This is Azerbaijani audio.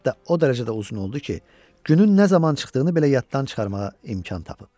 Hətta o dərəcədə uzun oldu ki, günün nə zaman çıxdığını belə yaddan çıxarmağa imkan tapıb.